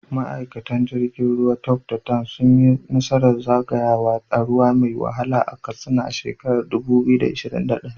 Ma’aikatan jirgin ruwa Tope da Dan sun yi nasarar zagayawa ta ruwa mai wahala a Katsina a shekarar 2021.